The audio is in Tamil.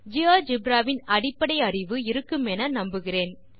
ஜியோஜெப்ரா குறித்த அடிப்படை செயல் அறிவு உங்களுக்கு இருக்குமென நம்புகிறோம்